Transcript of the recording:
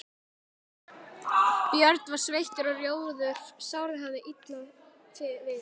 Björn var sveittur og rjóður, sárið hafðist illa við.